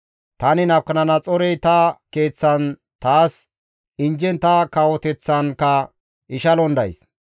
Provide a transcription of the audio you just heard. Tani Nabukadanaxoorey ta keeththan taas injjen ta kawoteththankka ishalon days.